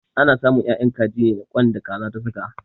Ana samun 'ya'yan kaji ne daga ƙwan da Kaza ta saka.